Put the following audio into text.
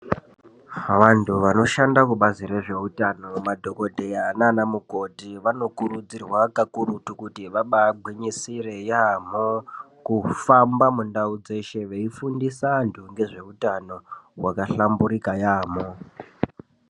Vantu vanoshande kubazi rezveutano madhokodheya nanamukoti vanokurudzirwa kakurutu kuti vabagwinyisire yamho kufamba mundau dzeshe veifundisa vantu ngezveutano wakahlamburuka yamho.